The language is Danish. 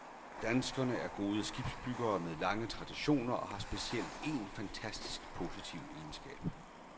Danskerne er gode skibsbyggere med lange traditioner og har specielt én fantastisk positiv egenskab.